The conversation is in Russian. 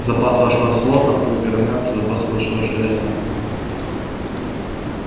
запас вашего золота будет равняться запасу вашего железа